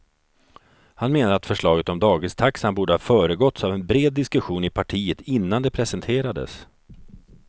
Han menar att förslaget om dagistaxan borde ha föregåtts av en bred diskussion i partiet innan det presenterades.